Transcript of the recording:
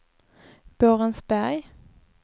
Borensberg